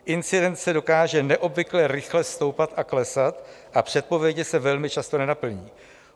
Incidence dokáže neobvykle rychle stoupat a klesat a předpovědi se velmi často nenaplní.